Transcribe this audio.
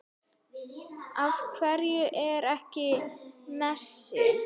Af hverju ekki Messi?